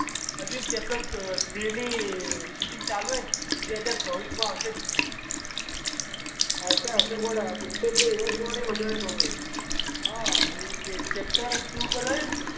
હજી ચેપ્ટર- ની શૂટિંગ હજી ચાલુ છે માં આવશે પિક્ચર. આવશે આવશે ગોડા પિક્ચર તો એવા જ જોવાની મજા છે તો પછી.